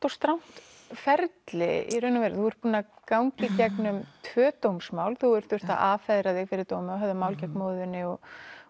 og strangt ferli í raun og veru þú ert búin að ganga í gegnum tvö dómsmál þú hefur þurft að affeðra þig fyrir dómi og höfða mál gegn móður þinni og